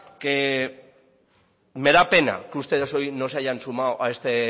que me da pena que ustedes hoy no se hayan sumado a este